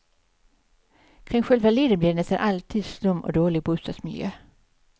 Kring själva leden blir det nästan alltid slum och dålig bostadsmiljö.